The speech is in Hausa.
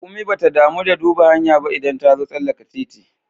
Raƙumi bata damu da duba hanya ba idan tazo tsallaka titi